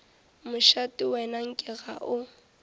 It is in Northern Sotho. mošate wena nke ga o